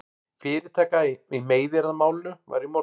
Fyrirtaka í meiðyrðamálinu var í morgun